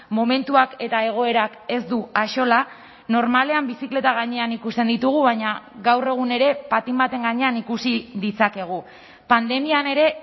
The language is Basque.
momentuak eta egoerak ez du axola normalean bizikleta gainean ikusten ditugu baina gaur egun ere patin baten gainean ikusi ditzakegu pandemian ere